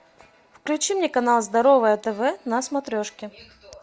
включи мне канал здоровое тв на смотрешке